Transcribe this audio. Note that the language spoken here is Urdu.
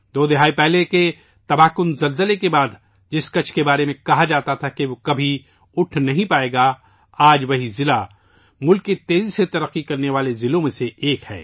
دو دہائی پہلے کے تباہ کن زلزلے کے بعد جس کچھ کے بارے میں کہاجاتا تھا کہ وہ کبھی ابھر نہیں سکے گا ، آج وہیں ضلع ملک کے تیزی سے ترقی کرنے والے اضلاع میں سے ایک ہے